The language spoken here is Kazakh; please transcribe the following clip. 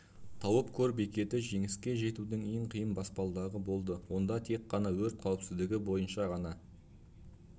тауып көр бекеті жеңісеке жетудің ең қиын баспалдағы болды онда тек қана өрт қауіпсіздігі бойынша ғана